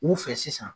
U fɛ sisan